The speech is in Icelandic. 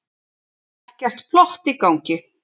Ekkert plott í gangi.